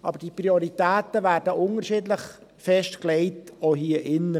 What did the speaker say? Aber diese Prioritäten werden unterschiedlich festgelegt, auch hier im Saal.